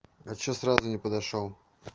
а что сразу не подошёл